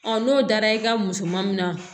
n'o dara i ka musomanin na